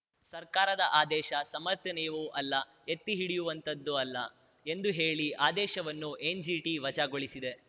ಸರ್ಕಾರದ ಆದೇಶ ಸಮರ್ಥನೀಯವೂ ಅಲ್ಲ ಎತ್ತಿ ಹಿಡಿಯುವಂತದ್ದೂ ಅಲ್ಲ ಎಂದು ಹೇಳಿ ಆದೇಶವನ್ನು ಎನ್‌ಜಿಟಿ ವಜಾಗೊಳಿಸಿದೆ